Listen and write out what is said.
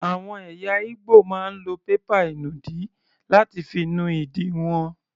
Àwọn ẹ̀yà Igbo máa ń lo pépà ìnùdí láti fi nu ìdí wọn.